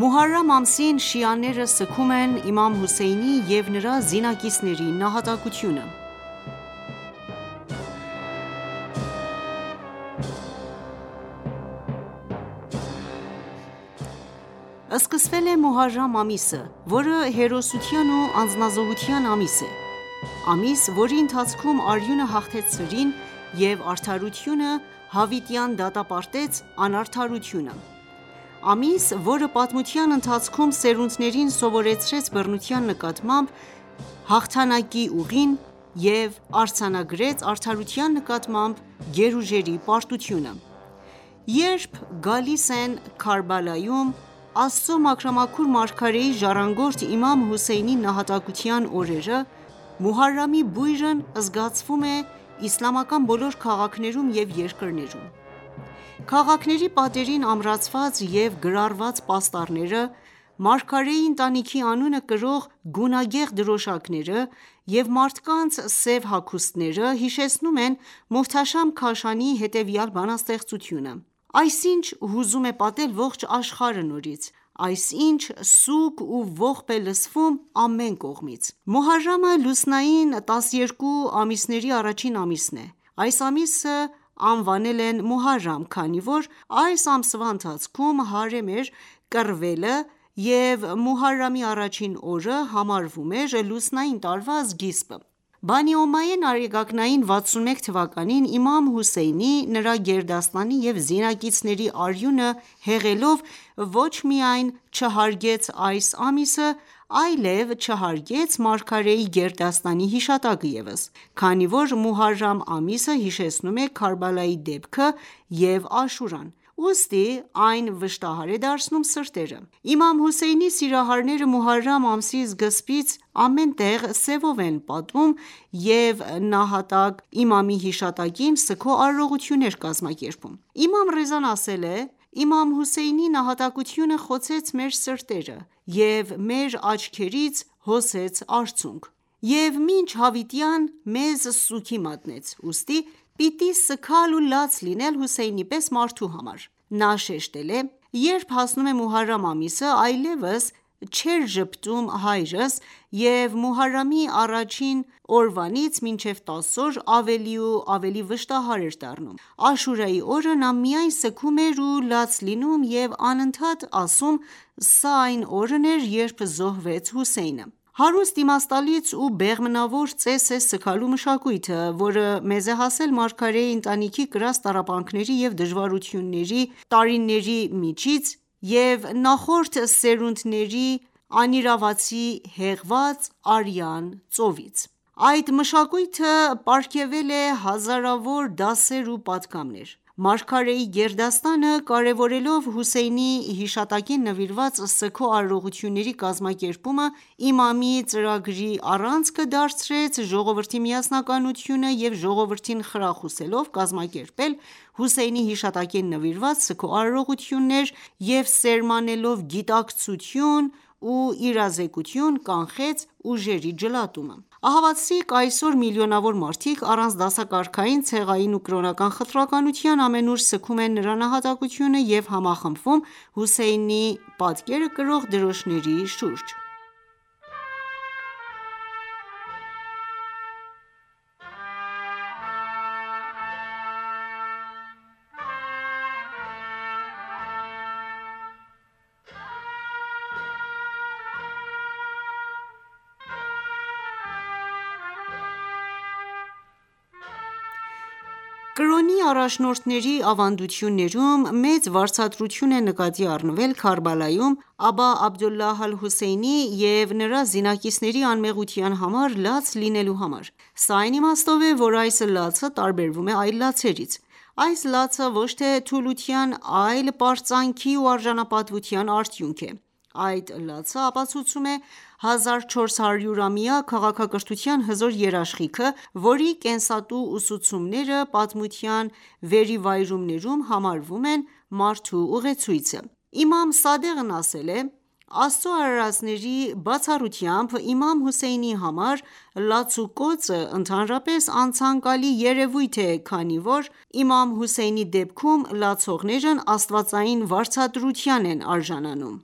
Մոհարամ ամսին շիաները սգում են Իմամ Հոսեյնի և նրա զինակիցների նահատակությունը: Սկսվել է Մոհարամ ամիսը ,որը հերոսության ու անձնազոհության ամիս է: Ամիս, որի ընթացքում արյունը հաղթեց սրին եւ արդարությունը հավիտյան դատապարտեց անարդարությունը:Ամիս ,որը պատմության ընթացքում սերունդներին սովորեցրեց բռնության նկատմամբ հաղթանակի ուղին եւ արձանագրեց արդարության նկատմամբ գերուժերի պարտությունը: Երբ գալիս են Քարբալայում, Աստծու մաքրամաքուր մարգարեի ժառանգորդ Իմամ Հւսեյնի նահատակության օրերը, Մոհարամի բույրն զգացվում է իսլամական բոլոր քաղաքներում և երկրներում: Քաղաքների պատերին ամրացված եւ գրառված պաստառները, մարգարեի ընտանիքի անունը կրող գունագեղ դրոշակները ,եւ մարդկանց սև հագուստները, հիշեցնում են Մոհթաշամ Քաշանիի հետևյալ բանաստեղծությունը՝ Այս ի՞նչ հուզում է պատել ողջ աշխարհը նորից, Այս ի՞նչ սուգ ու ողբ է լսվում ամեն կողմից։ Մոհարամը, լուսնային տասներկու ամիսների առաջին ամիսն է:Այս ամիսը անվանել են Մոհարամ ,քանի որ այս ամսվա ընթացքում հարամ էր կռվելը և Մոհարամի առաջին օրը համարվում էր լուսնային տարվա սկիզբը:Բանի Օմայեն արեգակնային 61 թվականին, Իմամ Հոսեյնի ,նրա գերդաստանի եւ զինակիցների արյունը հեղելով ոչ միայն չհարգեց այս ամիսը, այլև չհարգեց մարգարեի գերդաստանի հիշատակը ևս: Քանի որ Մոհարամ ամիսը հիշեցնում է Քարբալայի դեպքը եւ Աշուրան, ուստի այն վշտահար է դարձնում սրտերը: Իմամ Հոսեյնի սիրահարները Մոհարամ ամսի սկզբից ամեն տեղ սեւով են պատում եւ նահատակ Իմամի հիշատակին ,սգո արարողություններ կազմակերպում: Իմամ Ռեզան ասել է .«Իմամ Հոսեյնի նահատակությունը խոցեց մեր սիրտը եւ մեր աչքերից հոսեց արցունք..եւ մինչ հավիտյան մեզ սուգի մատնեց, ուստի պիտի սգալ ու լաց լինել Հոսեյնի պես մարդու համար....»:Նա շեշտել է.«Երբ հասնում է Մոհարամ ամիսը, այլեւս չէր ժպտում հայրս, եւ Մոհարամի առաջին օրվանից մինեւ 10 օր ,ավելի ու ավելի վշտահար էր դառնում:Աշուրայի օրը նա միայն սգում էր ու լաց լինում եւ անընդատ ասում ՝սա այն օրն էր ,երբ զոհվեց Հոսեյնը...»: Հարուստ ,իմաստալից ու բեղմնավոր ծես է սգալու մշակույթը ,որը մեզ է հասել մարգարեի ընտանիքի կրած տառապանքների ու դժվարությունների տարիների միջից և նախորդ սերունդերի անիրավացի հեղված արյան ծովից: Այդ մշակույթը պարգեւել է հազարավոր դասեր ու պատգամներ: Մարգարեի գերդաստանը կարևորելով, Հոսեյնի հիշատակին նվիրված սգո արարողությունների կազմակերպումը ,իմամի ծրագրի առանցքը դարձրեց ժողովրդի միասնականությունը և ժողովրդին խրախուսելով կազմակերպել Հոսեյնի հիշատակին նվիրված սգո արարողություններ եւ սերմանելով գիտակցություն ու իրազեկություն կանխեց ուժերի ջլատումը:Ահավասիկ այսօր միլիոնավոր մարդիկ առանց դասակարգային ,ցեղային ու կրոնական խտրականության ամենուր սգում են նրա նահատակությունը եւ համախմբվում Հոսեյնի պատկերը կրող դրոշների շուրջը: Կրոնի առաջնորդների ավանդոյթներում մեծ վարձատրություն է նկատի առնվել Քարբալայում, Աբա Աբդուլլահ ալ-Հոսեյնի և նրա զինակիցների անմեղության համար լաց լինելու համար: Սա այն իմաստով է ,որ այս լացը տարբերվում է այլ լացերից :Այս լացը ոչ թե թուլության այլ պարծանքի ու արժանապատվության արդյունք է :Այդ լացը ապացուցում է 1400 ամյա քաղաքակրթության հզոր երաշխիքը, որի կենսատու ուսուցումները պատմության վերիվայրումներում համարվում են մարդու ուղեցույցը: իմամ Սադեղն ասել է.«Աստծու արարածների, բացառությամբ Իմամ Հոսեյնի համար լացուկոծը ընդհանրապես անցանկալի երեւույթ է, քանի որ Իմամ Հոսեյնի դեպքում լացողներն Աստվածային վարձատրության են արժանանում»: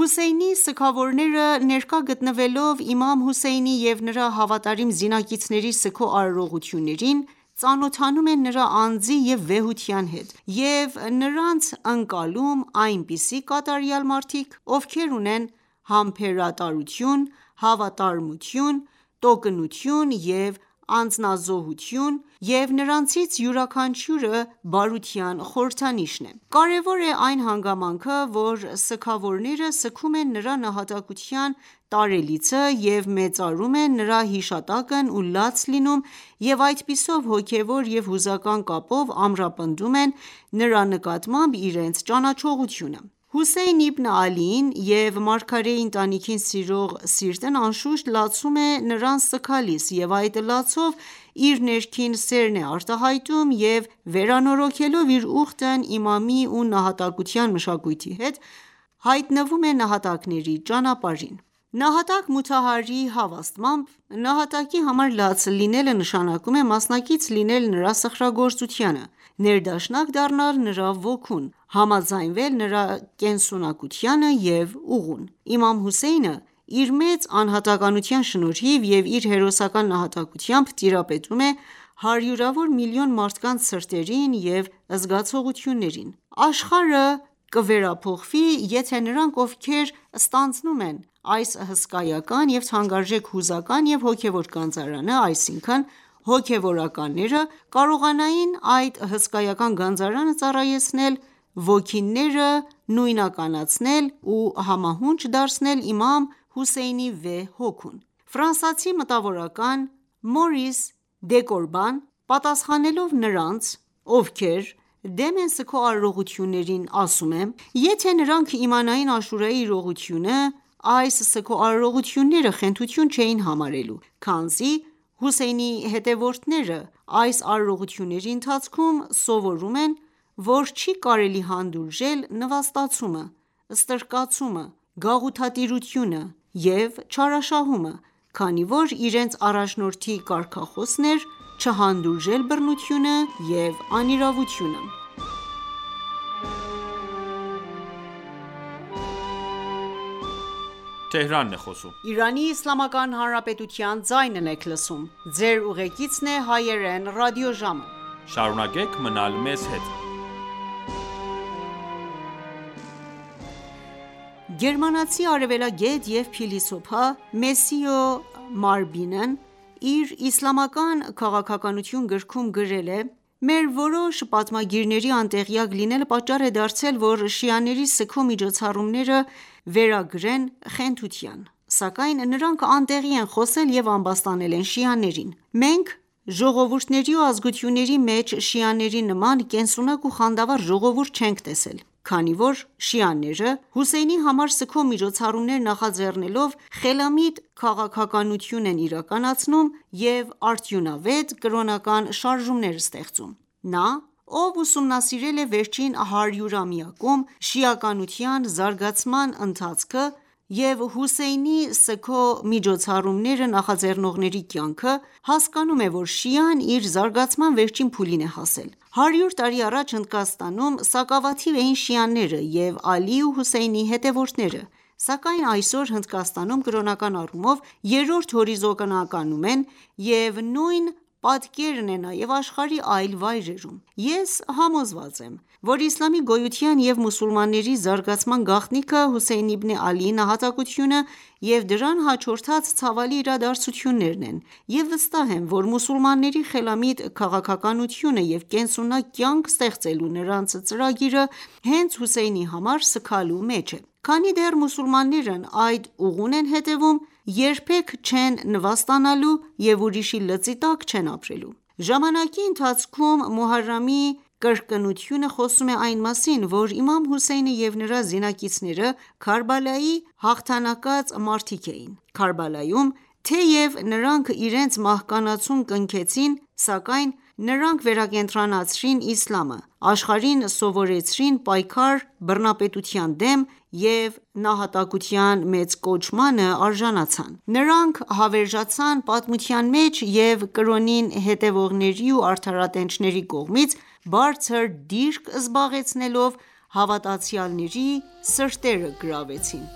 Հոսեյնի սգավորները, ներկա գտնվելով Իմամ Հոսեյնի և նրա հավատարիմ զինակիցների սգո արարողություններին, ծանոթանում են նրա անձի և վեհության հետ, եւ նրանց ընկալում այնպիսի կատարյալ մարդիկ ,ովքեր ունեն համբերության, հավատարմության, տոկունության և անձնազոհության հատկություններ, եւ նրանցից յուրաքանչյուրը բարության խորհրդանիշ է: Կարեւոր է այն հանգամանքը, որ սգավորները սգում են նրա նահատակության տարելիցը և մեծարում են նրա հիշատակն ու լաց լինում,և այդպիսով հոգեւոր եւ հուզական կապով ամրապնդում են նրա նկատմամբ իրենց ճանաչողությունը։ Հոսեյն Իբն Ալիին և մարգարեի ընտանիքին սիրող սիրտն անշուշտ լացում է նրան սգալիս և այդ լացով, իր ներքին սերն է արտահայտում եւ վերանորոգելով իր ուխտն Իմամի ու նահատակության մշակույթի հետ, հայտնվում է նահատակների ճանապարհին։ Նահատակ Մոթահարիի հավաստմամբ. «Նահատակի համար լաց լինելը նշանակում է մասնակից լինել նրա սխրագործությանը, ներդաշնակ դառնալ նրա ոգուն, համաձայնել նրա կենսունակությանը և ուղուն ...Իմամ Հոսեյնը, իր մեծ անհատականության շնորհիվ եւ իր հերոսական նահատակությամբ, տիրապետում է հարյուրավոր միլիոն մարդկանց սրտերին և զգացողություններին:Աշխարհը կվերափոխվի, եթե նրանք, ովքեր ստանձնում են այս հսկայական և թանկարժեք հուզական և հոգևոր գանձարանը, այսինքն ՝ հոգևորականները, կարողանային այդ հսկայական գանձարանը ծառայեցնել ոգիները նույնականացնել ու համահունչ դարձնել Իմամ Հոսեյնի վեհ հոգուն: Ֆրանսացի մտավորական Մորիս Դեկոբրան պատասխանելով նրանց ովքեր դեմ են սգո արարողություններին ասում է.«Եթե նրանք իմանային Աշուրայի իրողությունը ,այս սգո արարողությունները խենթություն չեին համարելու ,քանզի Հոսեյնի հետեւորդները այս արարողությունների ընթացքում սովորում են ,որ չի կարելի հանդուրժել նվաստացումը, ստրկացումը, գաղութատիրությունը եւ չարաշահումը, քանի որ իրենց առաջնորդի կարգախոսն էր՝ չհանդուրժել բռնությունը եւ անիրավությունը..»: Գերմանացի արեւելագետ եւ փիլիսոփա Մեսիո Մարբինն իր Իսլամական քաղաքականություն գրքում գրել է.«Մեր որոշ պատմագիրների անտեղյակ լինելը պատճառ է դարձել ,որ շիաների սգո միջոցառումները վերագրեն խենթության ,սակայն նրանք անտեղի են խոսել եւ ամբաստանել են շիաներին: Մենք ,ժողովուրդների ու ազգությունների մեջ շիաների նման կենսունակ ու խանդավառ ժողովուրդ չենք տեսել, քանի որ շիաները Հոսեյնի համար սգո միջոցառումներ նախաձեռնելով ,խելամիտ քաղաքականություն են իրականացնում եւ արդյունավետ կրոնական շարժումներ ստեղծում: Նա, ով ուսումնասիրել է վերջին հարյուրամյակում, շիականության զարգացման ընթացքը եւ Հոսեյնի սգո միջոցառումները նախաձեռնողների կյանքը ,հասկանում է, որ շիան իր զարգացման վերջին փուլին է հասել :Հարյուր տարի առաջ Հնդկաստանում սակավաթիվ էին շիաները եւ Ալիի ու Հոսեյնի հետեւորդները ,սակայն այսօր Հնդկաստանում ,կրոնական առումով երրորդ հորիզոնականում են եւ նույն պատկերն է նաև աշխարհի այլ վայրերում: Ես համոզված եմ ,որ իսլամի գոյության եւ մուսուլմանների զարգացման գաղտնիքը Հոսեյն Իբն Ալիի նահատակությունը եւ դրան հաջորդած ցավալի իրադարձություններն են եւ վստահ եմ ,որ մուսուլմանների խելամիտ քաղաքականությունը եւ կենսունակ կյանք ստեղծելու նրանց ծրագիրը հենց Հոսեյնի համար սգալու մեջ է: Քանի դեռ մուսուլմաններն այդ ուղուն են հետեւում երբեք չեն նվաստանալու և ուրիշի լծի տակ չեն ապրելու։ Ժամանակի ընթացքում ,Մոհարամի կրկնությունը խոսում է այն մասին, որ Իմամ Հոսեյնը և նրա զինակիցները Քարբալայի «հաղթանակած» մարդիկ էին:Քարբալայում, թեեւ նրանք իրենց մահկանացուն կնքեցին ,սակայն նրանք վերակենդանացրեցին իսլամը, աշխարհին սովորեցրեցին պայքար բռնապետության դեմ և նահատակության մեծ կոչմանը արժանացան:Նրանք հավերժացան պատմության մեջ եւ կրոնին հետեւողների ու արդարատենչների կողմից բարձր դիրք զբաղեցնելով ,հավատացյալների սիրտը գրավեցին: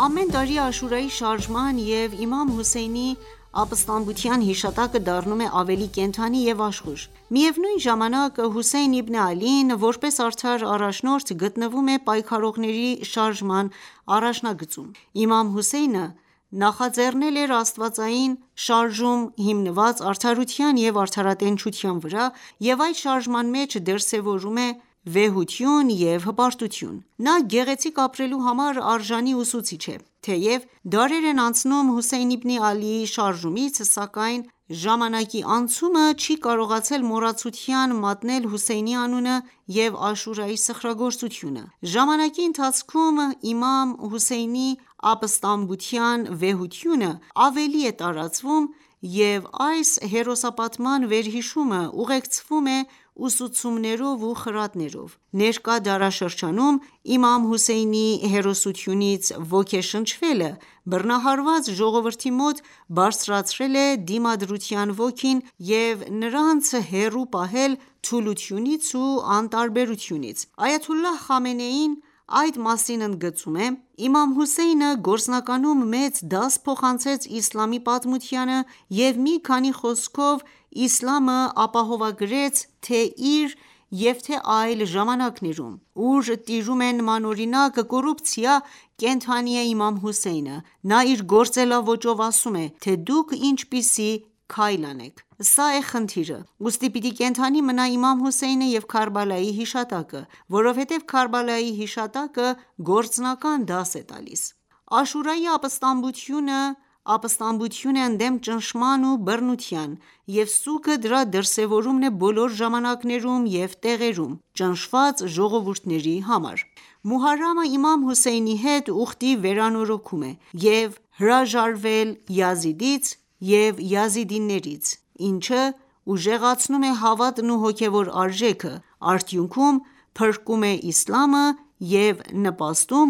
Ամեն տարի Աշուրայի շարժման և Իմամ Հոսեյնի ապստամբության հիշատակը դառնում է ավելի կենդանի և աշխույժ:Միևնույն ժամանակ, Հոսեյն իբն Ալին, որպես արդար առաջնորդ, գտնվում է պայքարողների շարժման առաջնագծում:Իմամ Հոսեյնը նախաձեռնել էր աստվածային շարժում ՝ հիմնված արդարության և արդարատենչության վրա, եւ այդ շարժման մեջ դրսևորվում է վեհություն եւ հպարտություն:Նա գեղեցիկ ապրելու համար արժանի ուսուցիչ է: Թեեւ դարեր են անցնում Հոսեյն իբն Ալիի շարժումից, սակայն ժամանաի անցումը չի կարողացել մոռացության մատնել Հոսեյնի անունը եւ Աշուրայի սխրագործությունը: Ժամանակի ընթացքում, Իմամ Հոսեյնի ապստամբության վեհությունը ավելի է տարածվում, և այս հերոսապատման վերհիշումը ուղեկցվում է ուսուցումներով ու խրատներով։ Ներկա դարաշրջանում Իմամ Հոսեյնի հերոսությունից ոգեշնչվելը բռնահարված ժողովրդի մոտ բարձրացրել է դիմադրության ոգին և նրանց հեռու պահել թուլությունից ու անտարբերությունից: Այաթ.Խամենեին այդ մասին ընդգծում է.«Իմամ Հոսեյնը գործնականում մեծ դաս փոխանցեց իսլամի պատմությանը եւ մի խոսքով իսլամը ապահովագրեցթե՛ իր եւ թե ՛այլ ժամանակներում: Ուր տիրում է նմանօրինակ կոռուպցիա ,կենդանի է Իմամ Հոսեյնը: Նա իր գործելաոճով ասում է թե՝ դուք ինչպիսի քայլ անեք: Սա է խնդիրը :Ուստի պիտի կենդանի մնա Իմամ Հոսեյնը եւ Քարբալայի հիշատակը, որովհետեւ Քարբալայի հիշատակը գործնական դաս է տալիս»: Աշուրայի ապստամբությունը, ապստամբություն է ընդդեմ ճնշման ու բռնության, և սուգը դրա դրսևորումն է բոլոր ժամանակներում և տեղերում, ճնշված ժողովուրդների համար:Մոհարամը ,Իմամ Հոսեյնի հետ ուխտի վերանորոգում է եւ հրաժարվել Յազիդից եւ յազիդներից, ինչը ուժեղացնում է հավատն ու հոգևոր արժեքը, ՝ արդյունքում փրկում է իսլամը և նպաստում